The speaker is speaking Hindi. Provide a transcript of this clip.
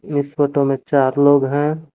इस फोटो मे चार लोग है।